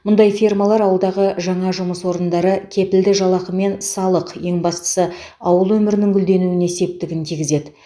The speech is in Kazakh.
мұндай фермалар ауылдағы жаңа жұмыс орындары кепілді жалақы мен салық ең бастысы ауыл өмірінің гүлденуіне септігін тигізеді